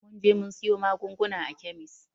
Mun je mun siyo magungunan a kemis